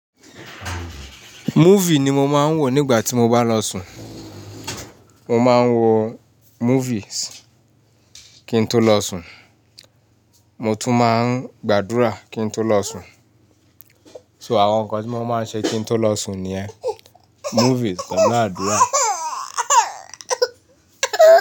Movie ni mo máa ń wò nígbà tí mo bá lọ sùn. Mo máa ń wo movies kí n tó lọ sùn, mo tún máa ń gbàdúrà kí n tó lọ sùn. So àwọn nǹkan tí mo máa ń ṣe kí n tó lọ sùn nìyẹn movies pẹ̀lú àdúrà.